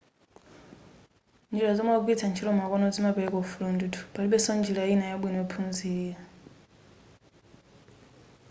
njira zomwe akugwilitsa ntchito makono zimapereka ufulu ndithu palibenso njira ina yabwino yophunzirapo